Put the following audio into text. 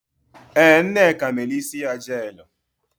Ee, Nneka mere isi ya jeelụ.